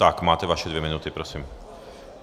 Tak máte vaše dvě minuty, prosím.